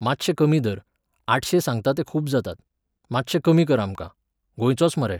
मातशें कमी धर, आठशें सांगतां ते खूब जातात, मातशे कमी कर आमकां, गोंयचोच मरे